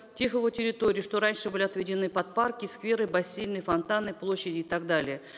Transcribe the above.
тех его территорий что раньше были отведены под парки скверы бассейны фонтаны площади и так далее